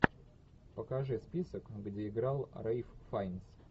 покажи список где играл рэйф файнс